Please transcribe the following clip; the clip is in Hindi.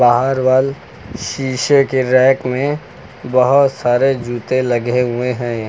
और वॉल शीशे के रैक में बहोत सारे जूते लगे हुए हैं।